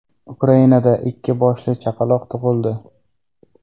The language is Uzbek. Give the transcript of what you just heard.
Ukrainada ikki boshli chaqaloq tug‘ildi.